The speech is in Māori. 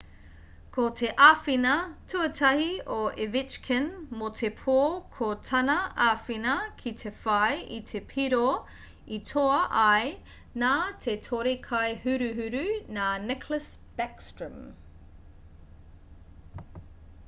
ko te āwhina tuatahi a ovechkin mō te pō ko tana āwhina ki te whai i te piro i toa ai nā te tore-kai-huruhuru nā nicklas backstrom